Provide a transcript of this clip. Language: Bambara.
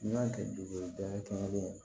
N'i y'a kɛ dugu ye da kelen ye